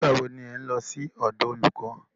Nígbà wo ni ẹ̀ ń lọ sí ọ̀dọ̀ olùkọ́?